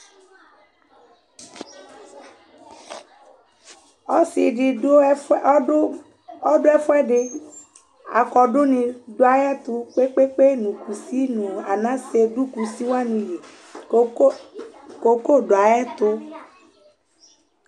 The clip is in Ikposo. ɔsiidi dʋ ɛƒʋɛ ɔdʋ ɛƒʋɛdi, akɔdʋ ni dʋ ayɛtʋ kpekpe nʋ kʋsi nʋ anasɛ nʋ kʋsi wani li cocoa dʋ ayɛtʋ